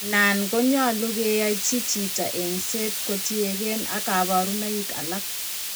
Nan konyolunot keyachi chito engset ko tien gee ak kabarunaik alak